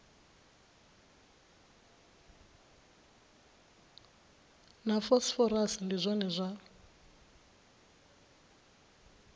na phosphorus ndi zwone zwa